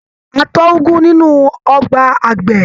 A tọ́ úgú nínú ọgbà àgbẹ̀.